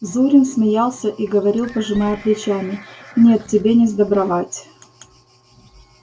зурин смеялся и говорил пожимая плечами нет тебе не сдобровать